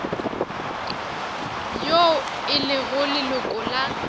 yo e lego leloko la